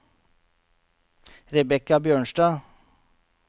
Rebekka Bjørnstad